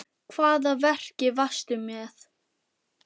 Hvaða verki varstu með?